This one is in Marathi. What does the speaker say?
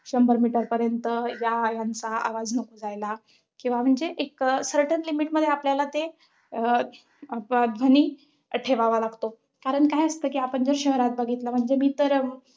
शंभर meter पर्यंत या यांचा आवाज नको जायला. किंवा म्हणजे एक अं certain limit मध्ये आपल्याला ते, अं ध्वनी ठेवेवा लागतो. कारण काय असतं कि आपण जर शहरात बघितलं म्हणजे मी तर